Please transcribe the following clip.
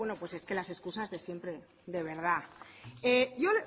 bueno es que las escusas de siempre de verdad